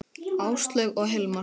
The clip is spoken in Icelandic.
Áslaug og Hilmar.